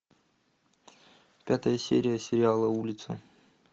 пятая серия сериала улица